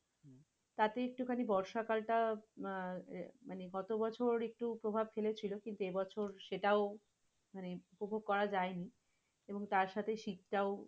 তাতে একটুখানি বর্ষাকালটা আহ মানে গতবছর একটু প্রভাব ফেলেছিল কিন্তু এবছর সেটাও মানে উপভোগ করা যায়নি এবং তার সাথে শীতটাও